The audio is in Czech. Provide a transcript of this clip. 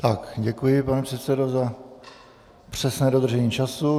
Tak, děkuji, pane předsedo, za přesné dodržení času.